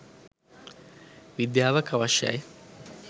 විද්‍යාවක් අවශ්‍යයි.